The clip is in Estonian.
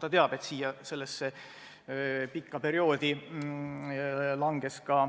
Ta teab, et sellesse pikka perioodi langes ka